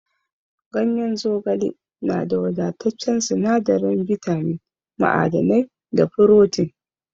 Ganyen zogale na da wadataccen sinadarin bitamin, ma'adanai, da furotin.